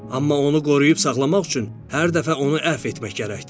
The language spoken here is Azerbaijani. Amma onu qoruyub saxlamaq üçün hər dəfə onu əfv etmək gərəkdir.